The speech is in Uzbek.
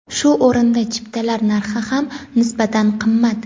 Shu o‘rinda chiptalar narxi ham nisbatan qimmat.